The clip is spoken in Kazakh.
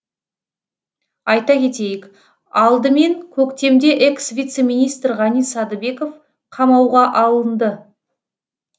айта кетейік алдымен көктемде экс вице министр ғани садыбеков қамауға алынды